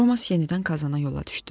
Roman yenidən Kazana yola düşdü.